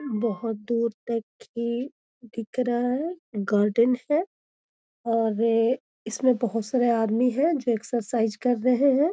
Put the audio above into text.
बहुत दूर तक ही दिख रहा है। गार्डन है और इसमें बहुत सारे आदमी हैं जो एक्सरसाइज कर रहें हैं।